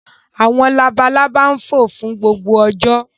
Àwọn labalábá fò fún gbogbo ọjọ́.